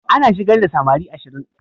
An shigar da samari ashirin.